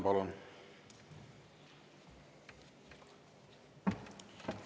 Palun!